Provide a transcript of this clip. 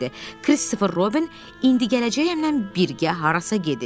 Kristofer Robbin "indi gələcəyəm"lə birgə harasa gedib.